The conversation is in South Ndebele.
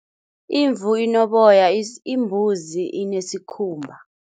Imvu inoboya, imbuzi inesikhumba.